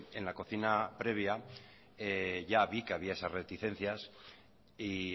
en la cocina previa ya vi que había esas reticencias y